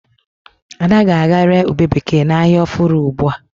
Ada ga-aga re ụbe bekee na ahia ọfụrụ ugbua